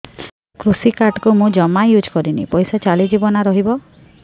କୃଷି କାର୍ଡ ମୁଁ ଜମା ୟୁଜ଼ କରିନି ପଇସା ଚାଲିଯିବ ନା ରହିବ